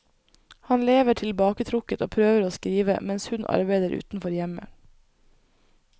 Han lever tilbaketrukket og prøver å skrive, mens hun arbeider utenfor hjemmet.